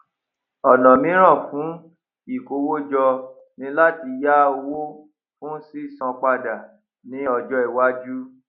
ònà míràn fún ìkówójọ ni láti yá owó fún sísan padà ní ọjó iwájú